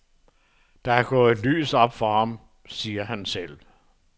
Der er gået et lys op for ham, siger han selv.